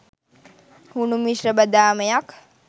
හුණු මිශ්‍ර බදාමයක්